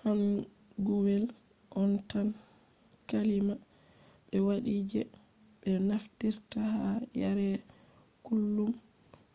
hanguwel on tan kalima ɓe waɗi je ɓe naftirta ha yare kullum.